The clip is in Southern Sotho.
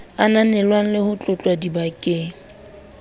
ananelwang le ho tlotlwa dibakeng